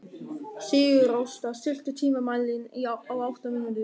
Sigurásta, stilltu tímamælinn á átta mínútur.